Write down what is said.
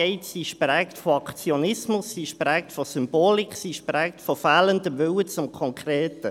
Diese ist geprägt von Aktionismus, von Symbolik und fehlendem Willen zum Konkreten.